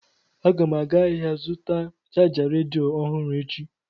Aga m aga ahịa ga zụta chaja redio ọhụrụ echi.